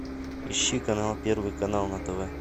ищи канал первый канал на тв